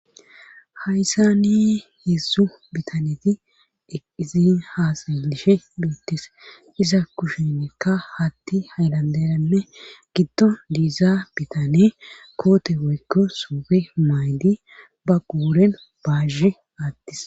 Hayssani heessu biitaneti eqqizin haasayishe beettes iza kushenikka haattey haylanderanne giddon diiza biitaney koote woykko suufe maay'dii ba quuren baazhe attis